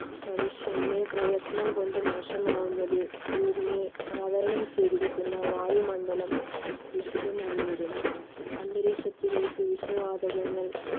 മനുഷ്യനെ പ്രയത്നം കൊണ്ട് മോശമാകുന്നത് ഭൂമിയെ ആവരണം ചെയ്തിരിക്കുന്ന വായു മണ്ഡലം ദുഷിതമായി വരുന്നു. അന്തരീക്ഷത്തിലേക്ക് വിഷ വാതകങ്ങൾ